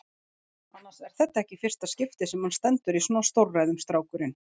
Annars er þetta ekki í fyrsta skipti sem hann stendur í svona stórræðum, strákurinn.